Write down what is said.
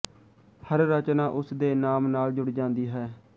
ਹਰ ਰਚਨਾ ਉਸ ਦੇ ਨਾਮ ਨਾਲ ਜੁੜ ਜਾਂਦੀ ਹੈ